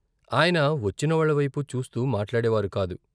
ఆయన వచ్చిన వాళ్ళ వైపు చూస్తూ మాట్లాడేవారు కాదు.